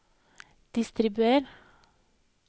distribuer